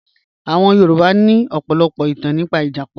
Àwọn Yorùbá ní ọ̀pọ̀lọpọ̀ ìtàn nípa ìjàpá